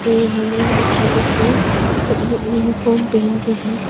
ये यहां इन बच्चों लोग जो सब यू यूनिफॉर्म पहन के हैं।